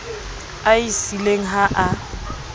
a e siileng ha a